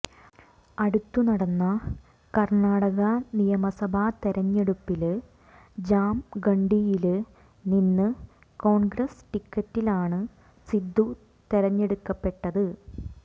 അടുത്ത് നടന്ന കര്ണാടക നിയമസഭാ തെരഞ്ഞെടുപ്പില് ജാംഗണ്ഡിയില് നിന്ന് കോണ്ഗ്രസ് ടിക്കറ്റിലാണ് സിദ്ദു തെരഞ്ഞെടുക്കപ്പെട്ടത്